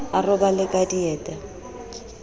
a robale ka dieta o